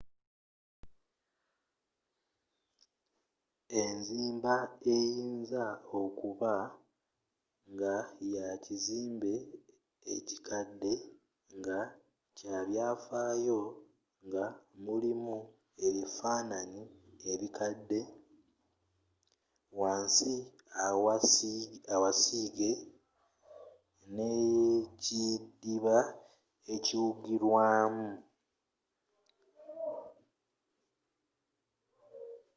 enzimba eyinza okuba nga ya kizimbe kikadde nga kya byaffaayo nga mulimu ebifaananyi ebikadde wansi awa siige n'ekidiba ekiwugirwamu